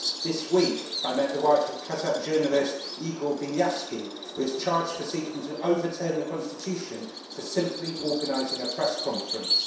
This week I met the wife of Kazakh journalist Igor Vinyavski, who is charged with seeking to overturn the constitution for simply organising a press conference.